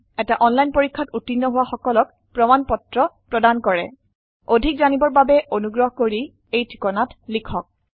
এটা অনলাইন পৰীক্ষাত উত্তীৰ্ণ হোৱা সকলক প্ৰমাণ পত্ৰ প্ৰদান কৰে অধিক জানিবৰ বাবে অনুগ্ৰহ কৰি contactspoken tutorialorg এই ঠিকনাত লিখক